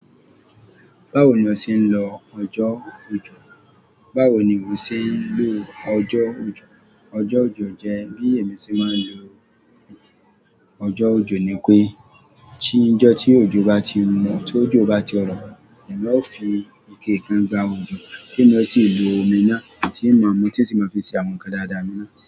Báwo ni ọ ṣe ń lo ọjọ́ ojò? Báwo ni o ṣe ń lo ọjọ́ ojò? Ọjọ́ ojò jẹ́ bí èmi ṣe máa ń lo ọjọ́ ojò ni pé tí ijọ́ tí ojò bá ti rọ́, tí ojò bá ti rọ̀, èmi a fi ike kan gbá ojò, bí mo ṣe ò ní lo omi náà, tí mo mọ̀ títi mo fi ṣe àwọn tdáadáa mi náà.